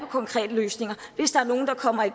konkrete løsninger hvis der er nogen der kommer i